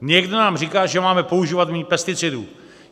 Někdo nám říká, že máme používat méně pesticidů.